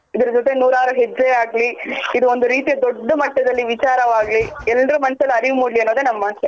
ಇದರ್ ಜೊತೆ ನೂರಾರು ಹೆಜ್ಜೆ ಆಗ್ಲಿ ಇದ್ ಒಂದು ರೀತಿಯ ದೊಡ್ಡ್ ಮಟ್ಟದಲ್ ವಿಚಾರವಾಗ್ಲಿ ಎಲ್ರು ಮನಸಲ್ ಅರಿವ್ ಮುಡ್ಲಿ ಅನ್ನೋದೇ ನಮ್ಮಾಸೆ